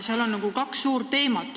Siin on kaks suurt teemat.